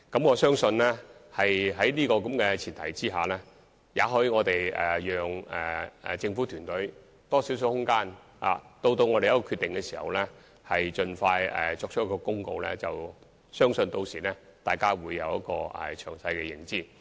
我相信在這前提下，也許應讓政府團隊有更大空間，待得出決定後盡快公布，相信大家屆時將有詳細的認知。